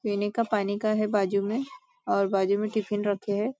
लेने का पाने का है बाजुमें और बाजुमें टिफ़िन रखे है।